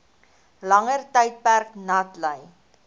langer tydperk natlei